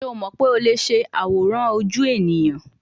Ṣe o mọ pe o le ṣe aworan oju eniyan